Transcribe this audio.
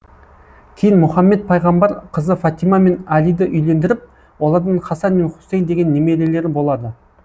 кейін мұхаммед пайғамбар қызы фатима мен алиді үйлендіріп олардан хасан мен хусейн деген немерелері болады